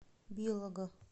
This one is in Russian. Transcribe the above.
белого